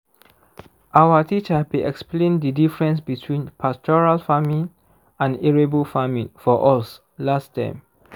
our teacher be explain the diffrence between pastoral farming and arable farming for us last term